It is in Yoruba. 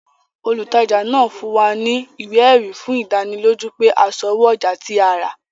Olùtajà náà fún wa ní ìwé ẹ̀rí fún ìdánilójú pé a sanwó ọjà tí a rà